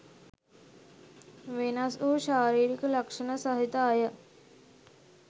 වෙනස්වූ ශාරීරික ලක්ෂණ සහිත අය